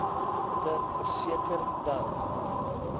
te verseker dat